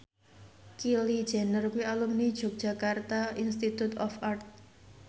Kylie Jenner kuwi alumni Yogyakarta Institute of Art